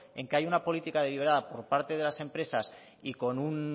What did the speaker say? en que hay una política deliberada por parte de las empresas y